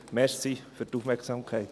Danke für die Aufmerksamkeit.